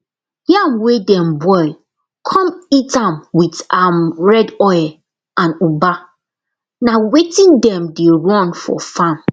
yam wey dem boil con eat am with am red oil and ugba na wetin dem dey run for farm